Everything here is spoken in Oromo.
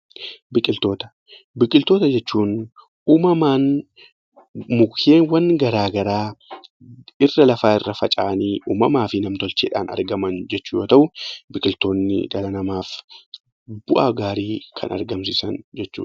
Biqiltoota Biqiltoota jechuun uumamaan mukkeewwan garaagaraa dirra lafaa irra faca'anii uumamaa fi nam-tolcheedhaan argaman jechuudha. Biqiltoonni dhala namaaf bu'aa gaarii kan argamsiisan jechuudha.